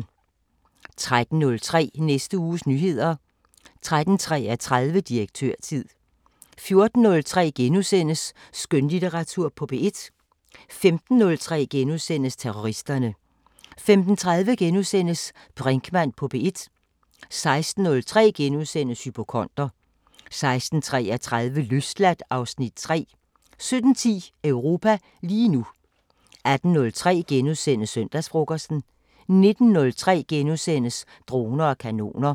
13:03: Næste uges nyheder 13:33: Direktørtid 14:03: Skønlitteratur på P1 * 15:03: Terroristerne * 15:30: Brinkmann på P1 * 16:03: Hypokonder * 16:33: Løsladt (Afs. 3) 17:10: Europa lige nu 18:03: Søndagsfrokosten * 19:03: Droner og kanoner *